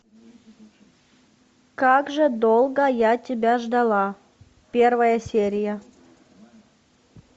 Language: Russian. как же долго я тебя ждала первая серия